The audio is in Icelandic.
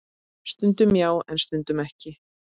Stundum já, en stundum ekki.